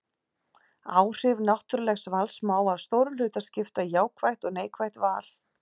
Áhrif náttúrlegs vals má að stórum hluta skipta í jákvætt og neikvætt val.